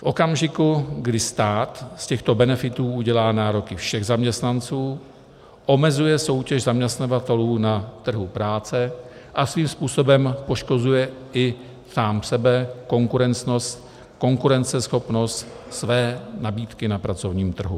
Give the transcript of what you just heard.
V okamžiku, kdy stát z těchto benefitů udělá nároky všech zaměstnanců, omezuje soutěž zaměstnavatelů na trhu práce a svým způsobem poškozuje i sám sebe, konkurenceschopnost své nabídky na pracovním trhu.